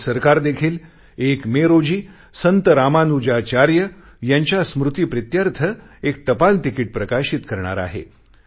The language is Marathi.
भारत सरकार देखील 1 मे रोजी संत रामानुजाचार्य यांच्या स्मृतिप्रीत्यर्थ एक टपालतिकीट प्रकाशित करणार आहे